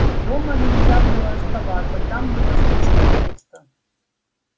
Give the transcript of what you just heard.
дома нельзя было оставаться там было слишком пусто